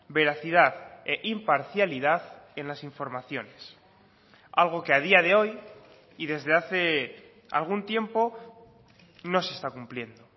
veracidad e imparcialidad en las informaciones algo que a día de hoy y desde hace algún tiempo no se está cumpliendo